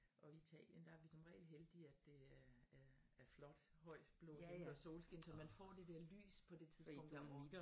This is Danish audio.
Og i Italien der er vi som regel heldige at det er er flot høj blå himmel og solskin så man får det dér lys på det tidspunkt